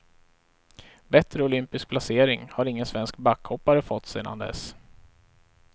Bättre olympisk placering har ingen svensk backhoppare fått sedan dess.